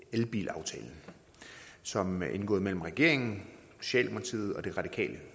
elbilaftale som er indgået mellem regeringen socialdemokratiet og det radikale